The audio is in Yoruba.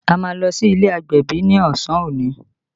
A máa lọ sí ilé agbẹ̀bí ni ọsàn òní